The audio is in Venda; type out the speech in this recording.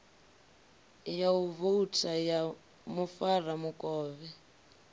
ya u vouta ya mufaramukovhe